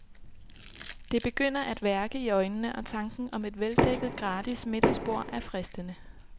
Det begynder at værke i øjnene, og tanken om et veldækket, gratis, middagsbord er fristende.